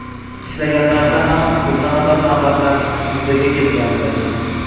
Ishlaganlarida ham turna qator navbatlar yuzaga kelgandi.